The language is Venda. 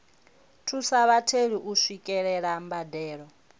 thusa vhatheli u swikelela mbadelo